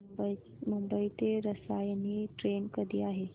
मुंबई ते रसायनी ट्रेन कधी आहे